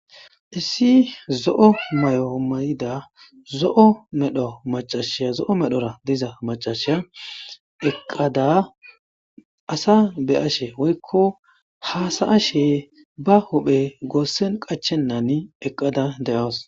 Issi zo7o may7oomay7ida zo7o medho macashiya zo7o medhora diza macashiya eqqada asa be ashe woykko haasaashe ba hophe goossen qachennani eqqada de7awas.